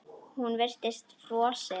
Hún virtist frosin.